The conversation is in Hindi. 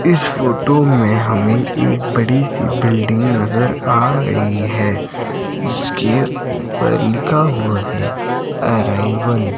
इस फोटो में हमें एक बड़ी सी बिल्डिंग नजर आ रही है जिसके ऊपर लिखा हुआ है अराइवल ।